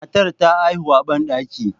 Matar ta haihu a bandaki.